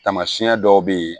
Taamasiyɛn dɔw bɛ ye